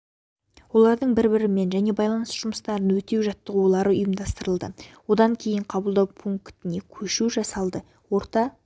олардың бір-бірімен және байланыс жұмыстарын өтеу жаттығулары ұйымдастырылды одан кейін қабылдау пунктіне көшу жасалды орта